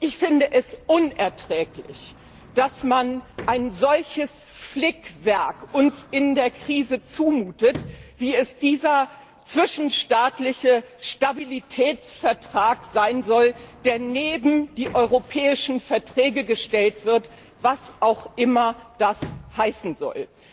Ich finde es unerträglich, dass man uns in der Krise ein solches Flickwerk zumutet, wie es dieser zwischenstaatliche Stabilitätsvertrag sein soll, der neben die Europäischen Verträge gestellt wird, was auch immer das heißen soll.